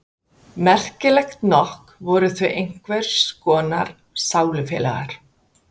Merkilegt nokk voru þau einhvers konar sálufélagar.